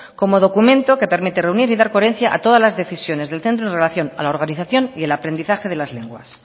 como documento que permite reunir y dar coherencia a todas las decisiones del centro en relación a la organización y al aprendizaje de las lenguas